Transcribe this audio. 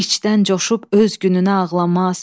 İçdən coşub öz gününə ağlamaz.